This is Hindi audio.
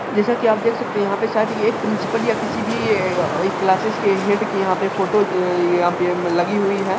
जैसा कि आप देख सकते है यहाँ पे शायद ये किसी एक प्रिन्सपल या किसी भी ये आ क्लासिस के हैड के यहाँ पर फोटो अ यहाँ पर लगी हुई है।